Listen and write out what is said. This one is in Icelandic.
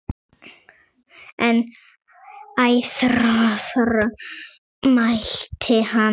En æðruorð mælti hann aldrei.